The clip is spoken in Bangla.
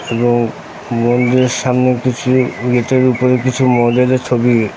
এবং মন্দিরের সামনে কিছু গেট -এর উপরে কিছু মহাদেবের ছবি।